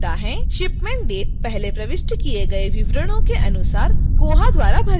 shipment date पहले प्रविष्ट किए गए विवरणों के अनुसार koha द्वारा भरी हुई है